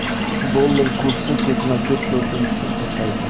Dollar kursi ketma-ket to‘rtinchi kun pasaydi.